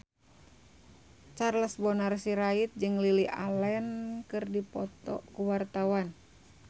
Charles Bonar Sirait jeung Lily Allen keur dipoto ku wartawan